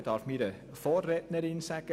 Ich darf zu meiner Vorrednerin sagen: